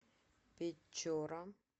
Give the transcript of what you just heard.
печора